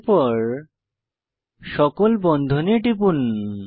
এরপর সকল বন্ধনে টিপুন